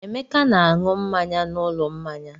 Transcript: Emeka na-aṅụ mmanya n'ụlọ mmanya.